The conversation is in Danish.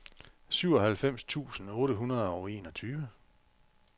syvoghalvfems tusind otte hundrede og enogtyve